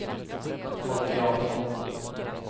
Folke Jansson